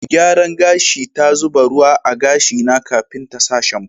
Mai gyaran gashi ta zuba ruwa a'gashi na kafin ta sa shamfu.